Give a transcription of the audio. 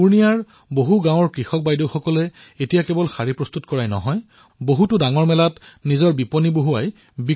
পুৰ্ণিয়াৰ বহু গাঁৱৰ কৃষক বাইদেউসকলে এতিয়া কেৱল শাৰী প্ৰস্তুত কৰাই নহয় বৰঞ্চ ডাঙৰ ডাঙৰ মেলাত নিজৰ বিপণীও স্থাপন কৰিছে